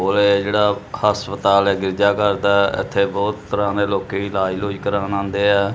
ਇਹ ਜਿਹੜਾ ਹਸਪਤਾਲ ਹੈ ਗਿਰਜਾਘਰ ਦਾ ਇੱਥੇ ਬਹੁਤ ਤਰ੍ਹਾਂ ਦੇ ਲੋਕੀ ਇਲਾਜ ਲੂਜ ਕਰਾਉਣ ਆਉਂਦੇ ਆ।